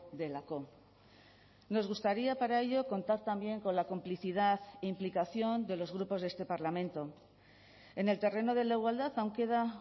delako nos gustaría para ello contar también con la complicidad implicación de los grupos de este parlamento en el terreno de la igualdad aún queda